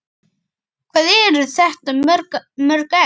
Hvað eru þetta mörg egg?